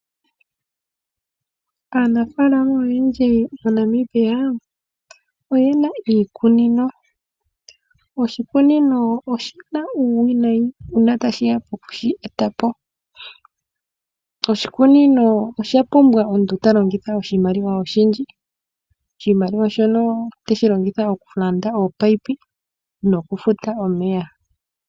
Aanafalama oyendji moNamibia, oye na iikunino. Oshikunino oshi na uuwinayi uuna tashiya poku shi eta po. Oshikunino osha pumbwa omuntu ta longitha oshimaliwa oshindji. Oshimaliwa shono tashi longithwa okulanda ominino nokufuta omeya.